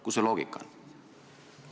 Kus see loogika on?